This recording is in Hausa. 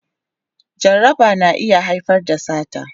Jaraba na iya haifar da sata